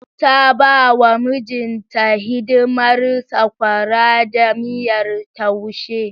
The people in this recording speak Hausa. Ta ba wa mijinta hidimar sakwara da miyar taushe.